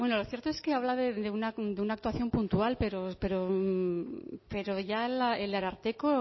lo cierto es que habla de una actuación puntual pero ya el ararteko